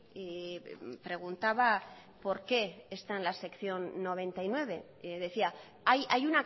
y preguntaba por qué estaba en la sección noventa y nueve decía hay